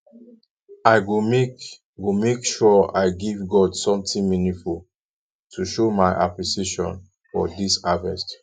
i go make go make sure i give god something meaningful to show my appreciation for dis harvest